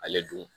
Ale dun